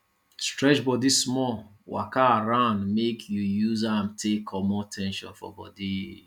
stretch bodi small waka around mek yu use am take comot ten sion for bodi